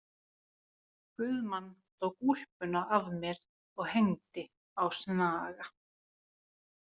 Guðmann tók úlpuna af mér og hengdi á snaga.